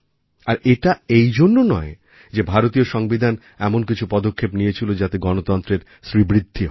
আর এটা এই জন্য নয় যে ভারতীয় সংবিধান এমন কিছু পদক্ষেপ নিয়েছিল যাতে গণতন্ত্রের শ্রীবৃদ্ধি হয়